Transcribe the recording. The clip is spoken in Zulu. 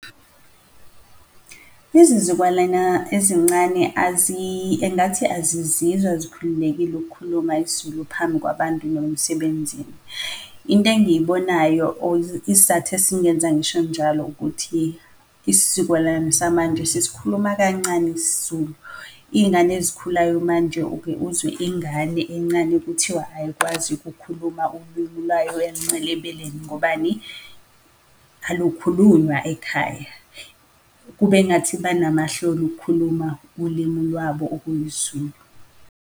Izizukwalana ezincane engathi azizizwa zikhululekile ukukhuluma isiZulu phambi kwabantu noma emsebenzini. Into engiyibonayo or isizathu esingenza ngisho njalo ukuthi isizukulwane samanje sisikhuluma kancane isiZulu. Iyingane ezikhulayo manje uke uzwe ingane encane kuthiwa ayikwazi ukukhuluma ulwimi lwayo ayelincele ebeleni, ngobani? Alukhulunywa ekhaya. Kube ngathi benamahloni ukukhuluma ulimi lwabo okuyisiZulu.